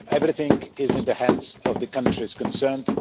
Everything is in the hands of the countries concerned.